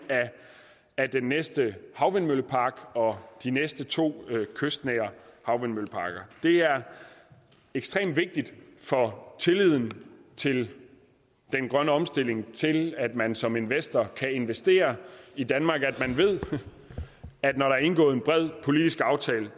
af den næste havvindmøllepark og de næste to kystnære havvindmølleparker det er ekstremt vigtigt for tilliden til den grønne omstilling altså til at man som investor kan investere i danmark at man ved at når der er indgået en bred politisk aftale